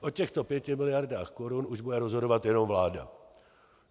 O těchto pěti miliardách korun už bude rozhodovat jenom vláda.